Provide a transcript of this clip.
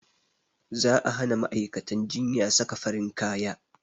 Za a hana ma'aikaciyyar jinya saka farin kaya